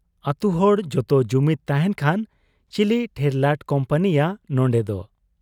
ᱟᱹᱛᱩᱦᱚᱲ ᱡᱚᱛᱚ ᱡᱩᱢᱤᱫᱽ ᱛᱟᱦᱮᱸᱱ ᱠᱷᱟᱱ ᱪᱤᱞᱤ ᱴᱷᱮᱨᱞᱟᱴ ᱠᱩᱢᱯᱟᱹᱱᱤᱭᱟᱹ ᱱᱚᱱᱰᱮᱫᱚ ᱾